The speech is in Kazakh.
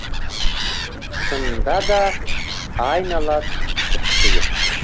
шынында да айнала тұп тұйық